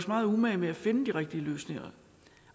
megen umage med at finde de rigtige løsninger